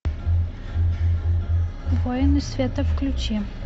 воины света включи